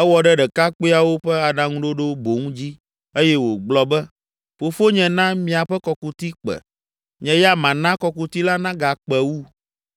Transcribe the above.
Ewɔ ɖe ɖekakpuiawo ƒe aɖaŋuɖoɖo boŋ dzi eye wògblɔ be, “Fofonye na miaƒe kɔkuti kpe; nye ya mana kɔkuti la nagakpe wu.